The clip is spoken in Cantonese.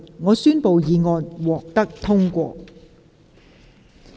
我宣布議案獲得通過。